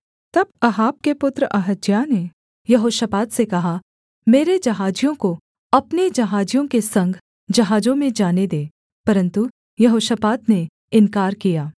तब अहाब के पुत्र अहज्याह ने यहोशापात से कहा मेरे जहाजियों को अपने जहाजियों के संग जहाजों में जाने दे परन्तु यहोशापात ने इन्कार किया